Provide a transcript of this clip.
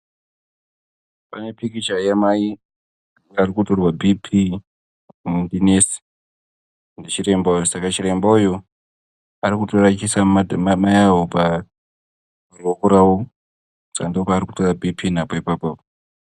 Pane pikicha yamai arikutorwa bhiipii ndichiremba uyu saka chiremba uyu arikutora achiisa Mai avo paruoko rwavo saka ndopaari kutora bhiipii napo ipapo .